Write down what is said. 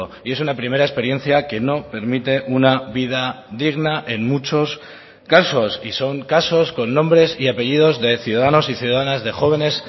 y es una primera experiencia que no permite una vida digna en muchos casos y son casos con nombres y apellidos de ciudadanos y ciudadanas de jóvenes